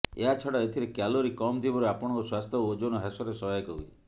ଏହା ଛଡା ଏଥିରେକ୍ୟାଲୋରୀ କମ ଥିବାରୁ ଆପଣଙ୍କ ସ୍ୱାସ୍ଥ୍ୟ ଏବଂ ଓଜନ ହ୍ରାସରେ ସହାୟକ ହୁଏ